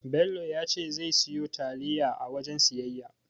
Bello ya ce zai siyo taliya a wajen siyayya.